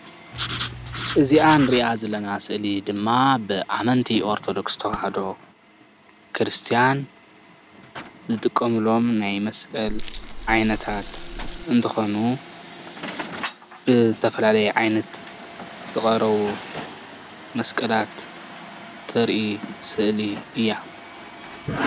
እዚኣ እንሪኣ ዘለና ስእሊ ድማ ብኣመንቲ ኦርተዶክስ ተዋህዶ ክርስትያን ዝጥቀምሎም ናይ መስቀል ዓይነታት እንትኮኑ ብተፈላለየ ዓይነታት ዝቀረቡ መስቀላት እተርኢ ስእሊ እያ፡፡